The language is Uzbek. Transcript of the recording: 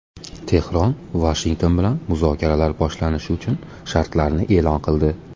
Tehron Vashington bilan muzokaralar boshlanishi uchun shartlarni e’lon qildi.